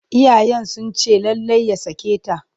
Iyayensa sun ce lallai ya sake ta.